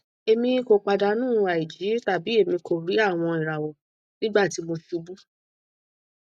emi ko padanu aiji tabi emi ko ri awọn irawọ nigbati mo ṣubu